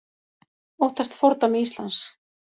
Óttast fordæmi Íslands